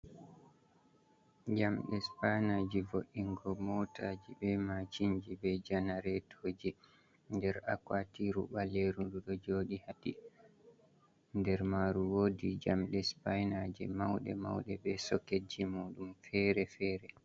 Jamɗe supaaynaaji vo’ingo mootaaji, be maacinji, be janareetooji, nder akwaatiiru ɓaleeru ndu ɗoo jooɗi, haa nder maaru woodi jamɗe supaaynaaje mawɗe mawɗe be soketji muu ɗum feere-feere.